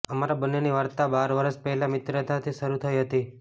અમારા બંનેની વાર્તા બાર વર્ષ પહેલાં મિત્રતાથી શરૂ થઈ હતી